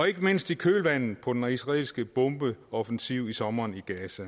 ikke mindst i kølvandet på den israelske bombeoffensiv i sommer